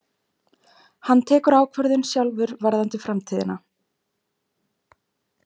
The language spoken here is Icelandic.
Hann tekur ákvörðun sjálfur varðandi framtíðina